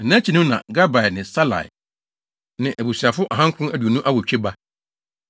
na nʼakyi no na Gabai ne Salai, ne abusuafo ahankron aduonu awotwe (928) ba.